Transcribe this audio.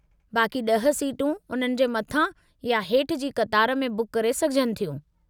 बाक़ी ड॒ह सीटूं उन्हनि जे मथां या हेठि जी क़तार में बुक करे सघजनि थियूं।